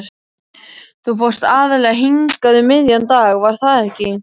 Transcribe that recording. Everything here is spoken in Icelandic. Þú fórst aðallega hingað um miðjan dag, var það ekki?